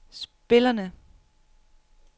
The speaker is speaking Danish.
spillerne